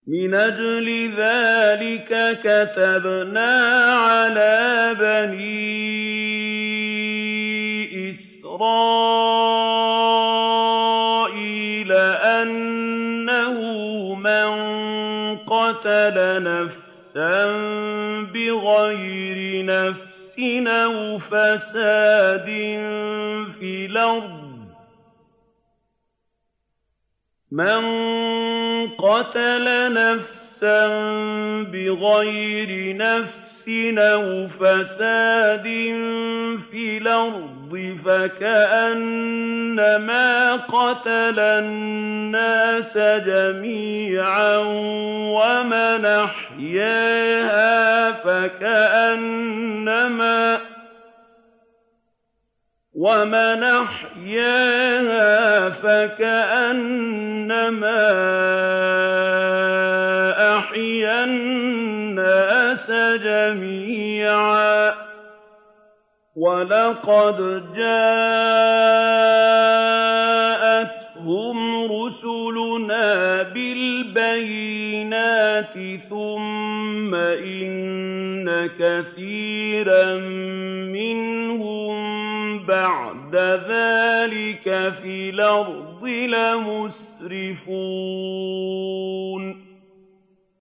مِنْ أَجْلِ ذَٰلِكَ كَتَبْنَا عَلَىٰ بَنِي إِسْرَائِيلَ أَنَّهُ مَن قَتَلَ نَفْسًا بِغَيْرِ نَفْسٍ أَوْ فَسَادٍ فِي الْأَرْضِ فَكَأَنَّمَا قَتَلَ النَّاسَ جَمِيعًا وَمَنْ أَحْيَاهَا فَكَأَنَّمَا أَحْيَا النَّاسَ جَمِيعًا ۚ وَلَقَدْ جَاءَتْهُمْ رُسُلُنَا بِالْبَيِّنَاتِ ثُمَّ إِنَّ كَثِيرًا مِّنْهُم بَعْدَ ذَٰلِكَ فِي الْأَرْضِ لَمُسْرِفُونَ